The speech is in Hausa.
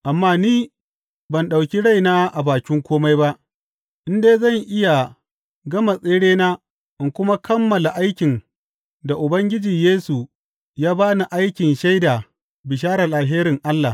Amma ni ban ɗauki raina a bakin kome ba, in dai zan iya gama tserena in kuma kammala aikin da Ubangiji Yesu ya ba ni aikin shaida bisharar alherin Allah.